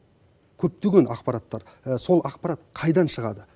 көптеген ақпараттар сол ақпарат қайдан шығады